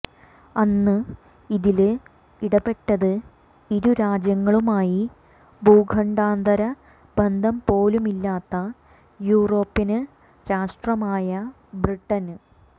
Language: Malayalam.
അന്ന് അതില് ഇടപെട്ടത് ഇരു രാജ്യങ്ങളുമായി ഭൂഖണ്ഡാന്തര ബന്ധംപോലുമില്ലാത്ത യൂറോപ്യന് രാഷ്ട്രമായ ബ്രിട്ടന്